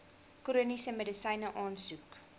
chroniese medisyne aansoek